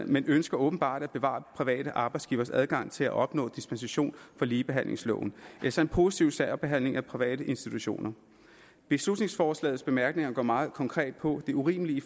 men ønsker åbenbart at bevare private arbejdsgivers adgang til at opnå dispensation fra ligebehandlingsloven altså en positiv særbehandling af private institutioner beslutningsforslagets bemærkninger går meget konkret på det urimelige i